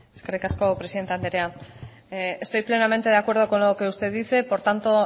eskerrik asko presidente andrea estoy plenamente de acuerdo con lo que usted dice por tanto